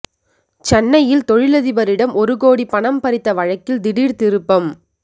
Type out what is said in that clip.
சென்னையில் தொழிலதிபரிடம் ஒரு கோடி பணம் பறித்த வழக்கில் திடீர் திருப்பம்